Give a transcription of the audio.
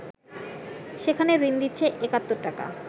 সেখানে ঋণ দিচ্ছে ৭১টাকা